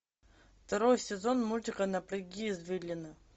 второй сезон мультика напряги извилины